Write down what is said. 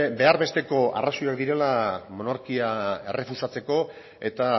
behar besteko arrazoiak direla monarkia errefusatzeko eta